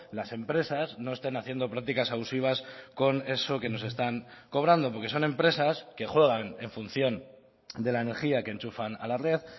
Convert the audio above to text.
las empresas no estén haciendo prácticas abusivas con eso que nos están cobrando porque son empresas que juegan en función de la energía que enchufan a la red